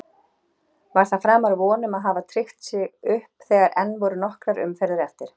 Var það framar vonum að hafa tryggt sér upp þegar enn voru nokkrar umferðir eftir?